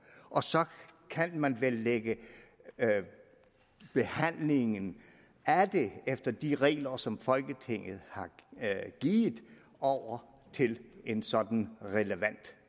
og så kan man vel lægge behandlingen af det efter de regler som folketinget har givet over til en sådan relevant